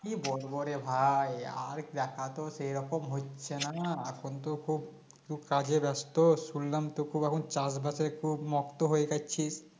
কি বলবো রে ভাই আর দেখাতো সেরকম হচ্ছে না না এখন তো কাজে কাজে ব্যস্ত শুনলাম তোর খুব এখন চাষবাসের খুব মত্ত হয়ে গেছিস